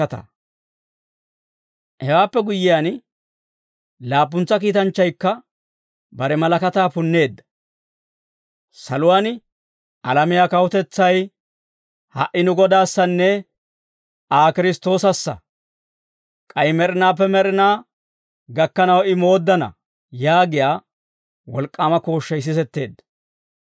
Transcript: Hewaappe guyyiyaan, laappuntsa kiitanchchaykka bare malakataa punneedda. Saluwaan, «Alamiyaa kawutetsay ha"i nu Godaassanne Kiristtoosassa; k'ay med'inaappe med'inaa gakkanaw I mooddana» yaagiyaa wolk'k'aama kooshshay sisetteedda.